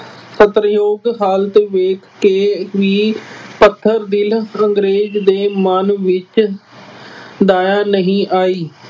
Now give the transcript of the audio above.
ਤਰਸਯੋਗ ਹਾਲਤ ਵੇਖ ਕੇ ਵੀ ਪੱਥਰ ਦਿਲ ਅੰਗਰੇਜ਼ ਦੇ ਮਨ ਵਿੱਚ ਦਇਆ ਨਹੀਂ ਆਈ।